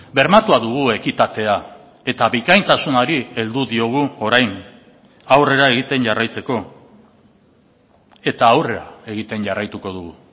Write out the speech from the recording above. bermatua dugu ekitatea eta bikaintasunari heldu diogu orain aurrera egiten jarraitzeko eta aurrera egiten jarraituko dugu